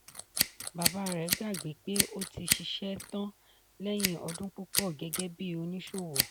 bàbá rẹ̀ gbagbé pé ó ti ṣiṣẹ́ tán lẹ́yìn ọdún púpọ̀ gẹ́gẹ́ bí oníṣòwò.